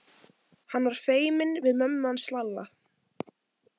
Hann var feiminn við mömmu hans Lalla.